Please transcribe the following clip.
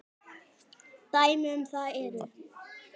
Dæmi um það eru